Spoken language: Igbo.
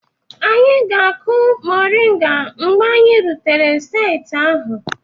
Anyị ga-akụ moringa mgbe anyị rutere saịtị ahụ